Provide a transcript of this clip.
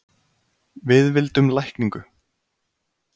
Við vildum lækningu.